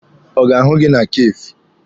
Ọ ga-ahụ gị na kafee?